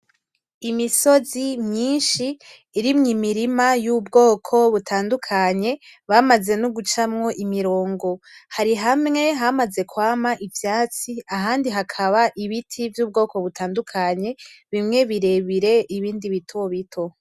Imisozi myinshi urimwo imirima y'ubwoko butandukanye bamaze nugucamwo imirongo hari hamwe hamaze kwama ivyatsi ahandi hakaba ibiti vy'ubwoko butandukanye bimwe birebire ibindi bito bito .